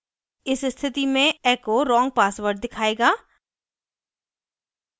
इस स्थिति में echo wrong password दिखायेगा